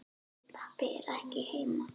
Pabbi er ekki heima.